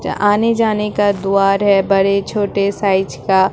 आने जाने का द्वार है बड़े छोटे साइज़ का।